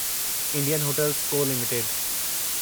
Indian hotels co limited